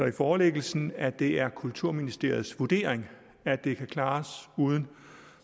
i forelæggelsen at det er kulturministeriets vurdering at det kan klares uden